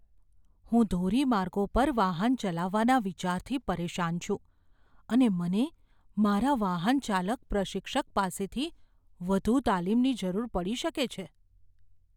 હું ધોરીમાર્ગો પર વાહન ચલાવવાના વિચારથી પરેશાન છું અને મને મારા વાહનચાલક પ્રશિક્ષક પાસેથી વધુ તાલીમની જરૂર પડી શકે છે.